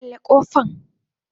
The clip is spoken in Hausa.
kulle kofan.